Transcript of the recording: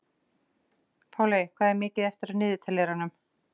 Páley, hvað er mikið eftir af niðurteljaranum?